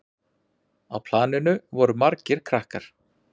Á planinu voru margir krakkar.